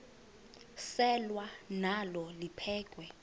selwa nalo liphekhwe